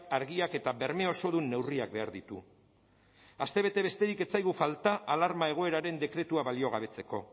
argiak eta berme osodun neurriak behar ditu astebete besterik ez zaigu falta alarma egoeraren dekretua baliogabetzeko